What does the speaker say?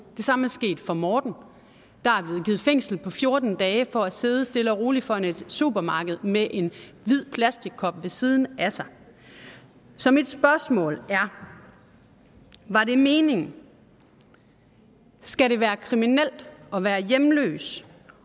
det samme er sket for morten der er blevet givet fængsel på fjorten dage for at sidde stille og roligt foran et supermarked med en hvid plastikkop ved siden af sig så mit spørgsmål er var det meningen skal det være kriminelt at være hjemløs